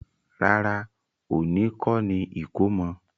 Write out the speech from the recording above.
Rárá, òní kọ́ni ìkómọ.